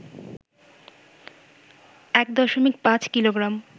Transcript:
১.৫ kilogram,